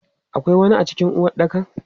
Akwai wani a cikin uwaɗɗakan?